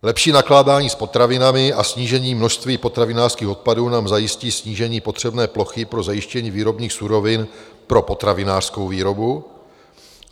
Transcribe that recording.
Lepší nakládání s potravinami a snížení množství potravinářských odpadů nám zajistí snížení potřebné plochy pro zajištění výrobních surovin pro potravinářskou výrobu.